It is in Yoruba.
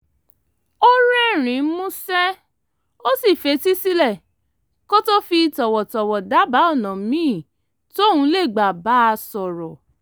ó rẹ́rìn-ín músẹ́ ó sì fetí sílẹ̀ kó tó fi tọ̀wọ̀tọ̀wọ̀ dábàá ọ̀nà míì tóun lè gbà bá a sọ̀rọ̀